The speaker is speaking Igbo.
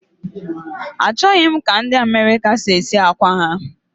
Achọghị m ka ndị America si esi akwa ha